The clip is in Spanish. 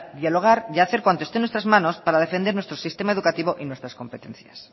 dialogar y hacer cuanto esté en nuestras manos para defender nuestro sistema educativo y nuestras competencias